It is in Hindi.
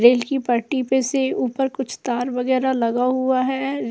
रेल की पटरी पर से ऊपर कुछ तार वगैरह लगा हुआ है।